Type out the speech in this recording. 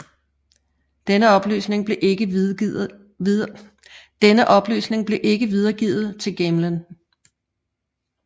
Denne oplysning blev ikke videregivet til Gamelin